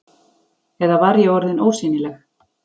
Eða var ég orðin ósýnileg?